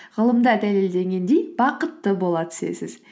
ғылымда дәлелденгендей бақытты бола түсесіз